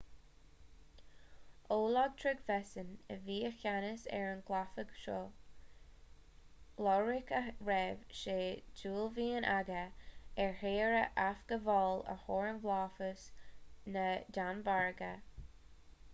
olaf trygvasson a bhí i gceannas ar an gcabhlach seo ioruach a raibh sé d'uaillmhian aige a thír a athghabháil ó fhorlámhas na danmhairge